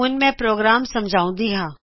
ਹੁਣ ਮੈ ਕੋਡ ਸਮਝਾਉਂਦੀ ਹਾਂ